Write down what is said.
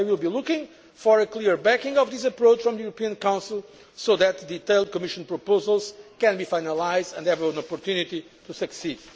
I will be looking for clear backing for this approach from the European Council, so that detailed Commission proposals can be finalised and have an opportunity to succeed.